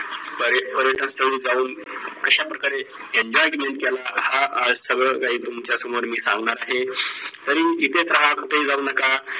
पर्य पर्यटन स्थळी जाऊन कश्या प्रकारे enjoyment केला हा आज सगळं काही तुमच्यासमोर मी सांगणार आहे तरी इथेच राहा कुठेही जाऊ नका